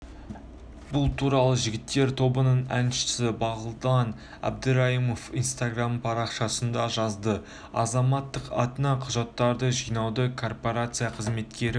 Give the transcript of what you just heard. бұл туралы жігіттер тобының әншісі бағлан әбдірайымов инстаграмдағы парақшасында жазды азаматтың атына құжаттарды жинауды корпорация қызметкері